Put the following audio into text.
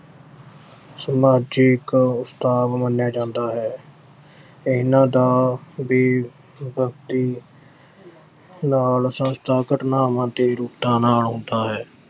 ਸੋਨੂੰ ਅੱਜ ਇੱਕ ਉਸਤਾਦ ਮੰਨਿਆ ਜਾਂਦਾ ਹੈ। ਇਨ੍ਹਾਂ ਦਾ ਵੀ ਵਕਤੀ ਘਟਨਾਵਾਂ ਤੇ ਨਾਲ ਹੁੰਦਾ ਹੈ।